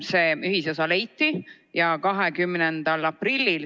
See ühisosa leiti 20. aprillil.